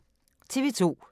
TV 2